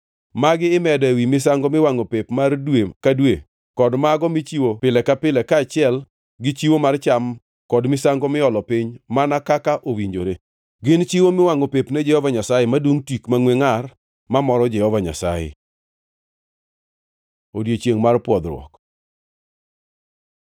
Magi imedo ewi misango miwangʼo pep mar dwe ka dwe kod mago michiwo pile ka pile kaachiel gi chiwo mar cham kod misango miolo piny mana kaka owinjore. Gin chiwo miwangʼo pep ne Jehova Nyasaye, madungʼ tik mangʼwe ngʼar mamoro Jehova Nyasaye. Odiechiengʼ mar pwodhruok